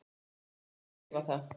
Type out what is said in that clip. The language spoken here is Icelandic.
Segi og skrifa það.